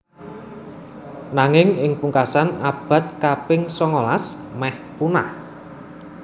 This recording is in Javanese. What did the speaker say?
Nanging ing pungkasan abad kaping songolas mèh punah